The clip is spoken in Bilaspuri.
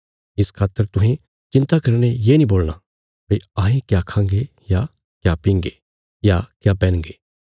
इस खातर तुहें चिन्ता करीने ये नीं बोलणा भई अहें क्या खांगे या क्या पींगे या क्या पैहनगे